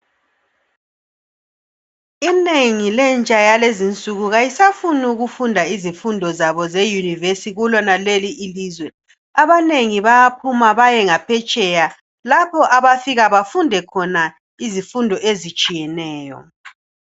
Inengi lentsha yalezinsuku kayisafuni ukufunda izifundo zabo zeyunivesi kulonaleli ilizwe. Abanengi bayaphuma bayengaphetsheya, lapho abafika bafunde khona izifundo ezitshiyeneyo.